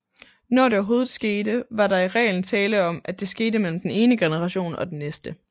Når det overhovedet skete var der i reglen tale om at det skete mellem den ene generation og den næste